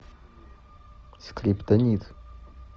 скриптонит